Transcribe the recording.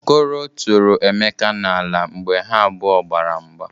Okoro tụrụ Emeka n'ala mgbe ha abụọ gbara mgba.